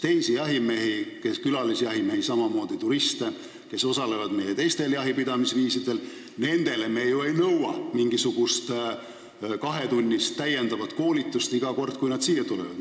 Teistelt külalisjahimeestelt ja turistidelt, kes võtavad osa meie teistest jahipidamise viisidest, me ju ei nõua mingisugust kahetunnist täiendavat koolitust iga kord, kui nad siia tulevad.